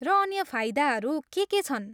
र अन्य फाइदाहरू के के छन्?